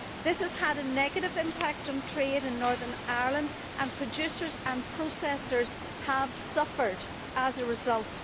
This has had a negative impact on trade in Northern Ireland, and producers and processors have suffered as a result.